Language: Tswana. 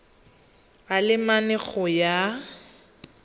a le mane go ya